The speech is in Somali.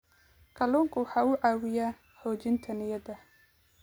Kalluunku waxa uu caawiyaa xoojinta niyadda.